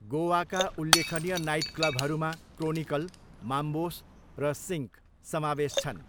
गोवाका उल्लेखनीय नाइटक्लबहरूमा Chronicle, Mambos र सिङ्क समावेश छन्।